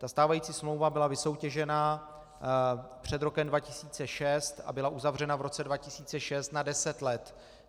Ta stávající smlouva byla vysoutěžena před rokem 2006 a byla uzavřena v roce 2006 na deset let.